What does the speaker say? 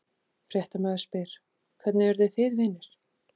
Fréttamaður: Hvernig urðu þið vinir?